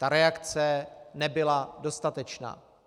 Ta reakce nebyla dostatečná.